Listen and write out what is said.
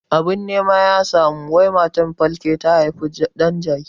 Abin nema ya samu wai matar falke ta haifi ɗan jaki